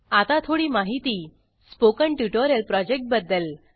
आता थोडी माहिती स्पोकन ट्युटोरियल प्रॉजेक्ट बद्दल